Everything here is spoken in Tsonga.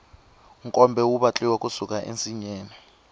nkombe wu vatliwa ku suka ensinyeni